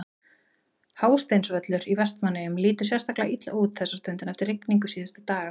Hásteinsvöllur í Vestmannaeyjum lítur sérstaklega illa út þessa stundina eftir rigningu síðustu daga.